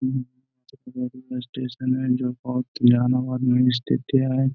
railway station हैं --